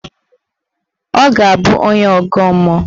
Ọ ga-abụ onye ọgọ mmụọ.